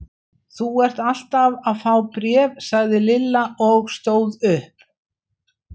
Þú ert alltaf að fá bréf sagði Lilla og stóð upp.